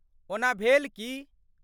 ओना भेल की?